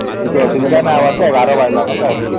କିଛି ଅସୁବିଧା ନାଇଁ ହବାର ତା ୧୧ ବାଜିଲା ତା actually